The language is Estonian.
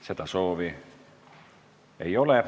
Kõnesoove ei ole.